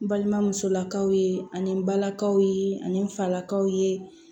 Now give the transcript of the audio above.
N balimamusolakaw ye ani n balakaw ye ani n falakaw ye